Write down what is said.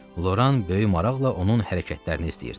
Loran böyük maraqla onun hərəkətlərini izləyirdi.